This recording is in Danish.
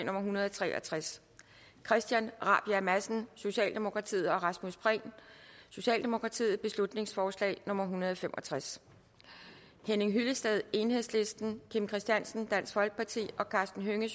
hundrede og tre og tres christian rabjerg madsen og rasmus prehn beslutningsforslag nummer hundrede og fem og tres henning hyllested kim christiansen og karsten hønge